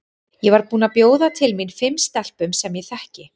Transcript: Ég var búin að bjóða til mín fimm stelpum sem ég þekki.